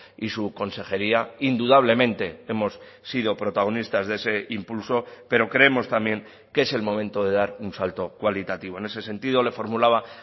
y su consejería indudablemente hemos sido protagonistas de ese impulso pero creemos también que es el momento de dar un salto cualitativo en ese sentido le formulaba